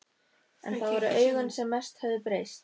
En það voru augun sem mest höfðu breyst.